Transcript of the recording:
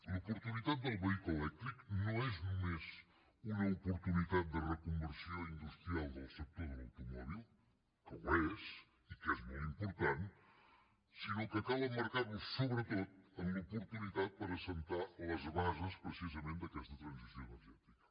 l’oportunitat del vehicle elèctric no és només una oportunitat de reconversió industrial del sector de l’automòbil que ho és i que és molt important sinó que cal emmarcar la sobretot en l’oportunitat per assentar les bases precisament d’aquesta transició energètica